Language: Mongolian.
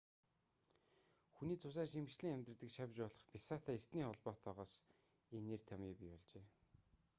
хүний цусаар шимэгчлэн амьдардаг шавж болох бясаатай эртний холбоотойгоос энэ нэр томъёо бий болжээ